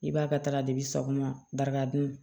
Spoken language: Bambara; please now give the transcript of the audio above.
I b'a ka taga depi sogoma barika dun